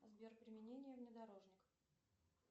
сбер применение внедорожника